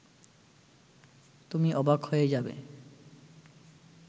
তুমি অবাক হয়ে যাবে